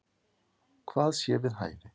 Hvað sé við hæfi.